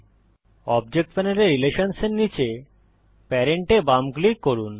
object প্যানেলে রিলেশনসহ এর নীচে প্যারেন্ট এ বাম ক্লিক করুন